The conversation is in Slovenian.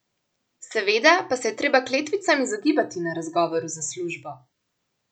Seveda pa se je treba kletvicam izogibati na razgovoru za službo.